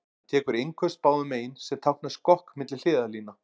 Hann tekur innköst báðum megin, sem táknar skokk milli hliðarlína.